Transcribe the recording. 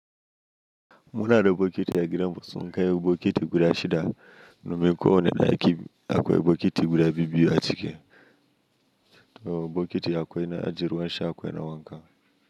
Muna da bokiti a gidanmu sun kai bokiti guda shida, domin ko wane daƙi da akwai bokiti guda biyu a ciki. To a bokiti akwai na ajiye ruwan sha akwai na wanka.